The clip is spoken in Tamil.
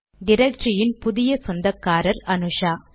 டிரக்டரியின் புதிய சொந்தக்காரர் அனுஷா